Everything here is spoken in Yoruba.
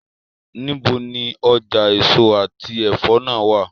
Nibo ni ọja eso ati ẹfọ naa wa?